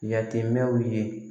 Yatimɛnw ye